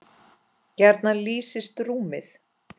gjarnan lýsist rúmið